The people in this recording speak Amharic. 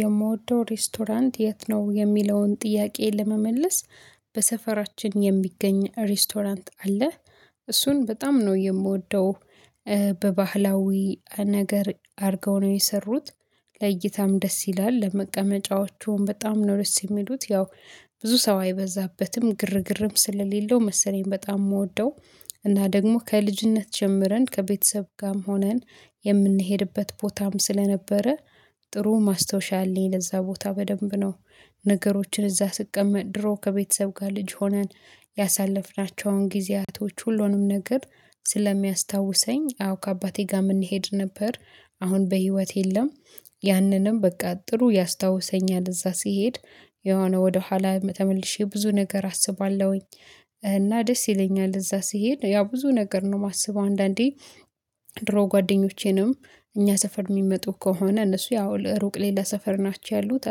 የምወደው ሬስቶራንት የት ነው የሚለውን ጥያቄ ለመመለስ በሰፈራችን የሚገኝ ሬስቶራንት አለ። እሱን በጣም ነው የምወደው። በባህላዊ ነገር አድርገው ነው የሰሩት። ለይታም ደስ ይላል ለመቀመጫዎቹም በጣም ነው ደስ የሚሉት። ያው ብዙ ሰው አይበዛበትም ግርግርም ስለሌለው መሰለኝ በጣም የምወደው። እና ደግሞ ከልጅነት ጀምረን ከቤተሰብ ጋርም ሆነን የምንሄድበት ቦታም ስለነበረ። ጥሩ ማስታወሻ አለኝ ለዛ ቦታ በደንብ ነው። ነገሮችን እዛ ስቀመጥ ድሮ ከቤተሰብ ጋር ልጅ ሆነን ያሳለፍናቸውን ጊዜያቶች ሁሉንም ነገር ስለሚያስታውሰኝ። አዎ ከአባቴ ጋር የምንሄድ ነበር። አሁን በህይወት የለም። ያንንም በቃ ጥሩ ያስታውሰኛል እዛ ሲሄድ። የሆነ ወደኋላ ተመልሼ ብዙ ነገር አስባለሁኝ። እና ደስ ይለኛል እዛ ስሄድ ያ ብዙ ነገር ነው የማስበው። አንዳንዴ ድሮ ጓደኞቼንም እኛ ሰፈር የሚመጡ ከሆነ እነሱ ያው ለሩቅ ሌላ ሰፈር ናቸው ያሉት።